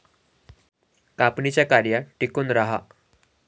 कापणीच्या कार्यात टिकून राहा